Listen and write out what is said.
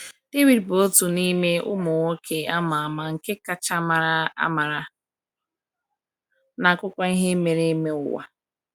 David bụ otu n’ime ụmụ nwoke ama ama nke kacha mara amara n’akụkọ ihe mere eme ụwa.